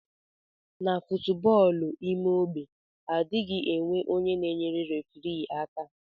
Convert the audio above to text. Na foootbọọlụ ime ogbe adighi enwe onye na eyere referi aka.